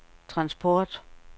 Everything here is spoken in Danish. transport